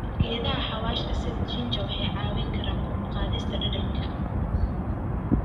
Geedaha xawaashka sida ginger waxay caawiyaan kor u qaadista dhadhanka.